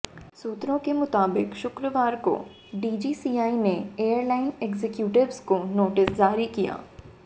सूत्रों के मुताबिक शुक्रवार को डीजीसीए ने एयरलाइन एग्जीक्यूटिव्स को नोटिस जारी किए